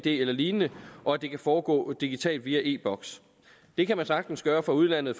eller lignende og at det kan foregå digitalt via e boks det kan man sagtens gøre fra udlandet